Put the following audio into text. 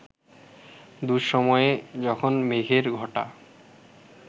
দুঃসময়ে, যখন মেঘের ঘটা